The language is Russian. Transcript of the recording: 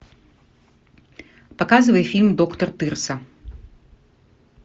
показывай фильм доктор тырса